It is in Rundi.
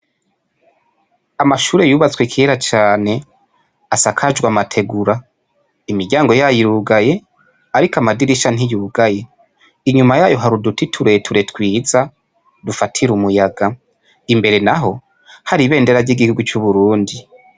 Amashure yubatswe kera cane asakajwe amategura, imiryango yayo irugaye, ariko amadirisha ntiyugaye, inyuma yayo har'uduti tureture twiza dufatira umuyaga, imbere naho hari ibendera ry'igihugu c'Uburundi.